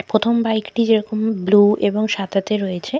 প্রথম বাইক টি যেরকম বুলু এবং সাদাতে রয়েছে।